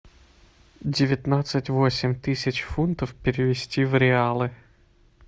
девятнадцать восемь тысяч фунтов перевести в реалы